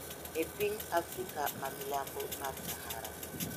E piny Afrika ma milambo mar Sahara.